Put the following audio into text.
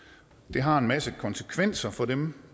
det har en masse konsekvenser for dem